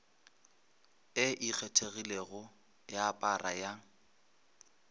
e ikgethilego ya para ya